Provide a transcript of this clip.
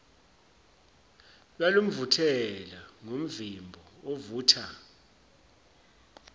lwalumvuthela ngomvimbo ovutha